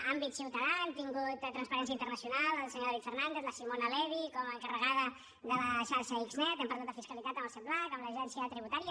àmbit ciutadà hem tingut transparència internacional el senyor david fernàndez simona levi com a encarregada de la xarxa xnet hem parlat de fiscalitat amb el sepblac amb l’agència tributària